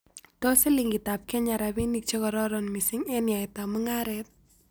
Tos' silingitap kenya rabinik chegororon misiing' eng' yaetap mung'aret